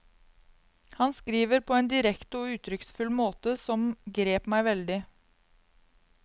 Han skriver på en direkte og uttrykksfull måte som grep meg veldig.